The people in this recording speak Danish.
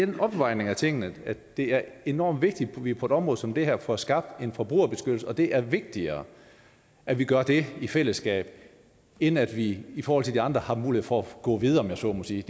en afvejning af tingene det er enormt vigtigt at vi på et område som det her får skabt en forbrugerbeskyttelse og det er vigtigere at vi gør det i fællesskab end at vi i forhold til de andre har mulighed for at gå videre om jeg så må sige